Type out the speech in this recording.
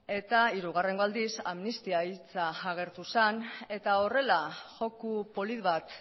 eta hirugarren aldiz amnistia hitza agertu zen eta horrela joko polit bat